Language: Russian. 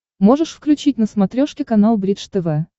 можешь включить на смотрешке канал бридж тв